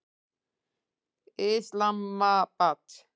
Islamabad